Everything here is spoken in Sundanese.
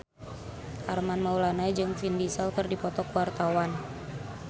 Armand Maulana jeung Vin Diesel keur dipoto ku wartawan